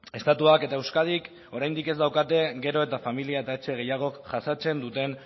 estatuak eta euskadik oraindik ez daukate gero eta familia eta etxe gehiagok jasaten duten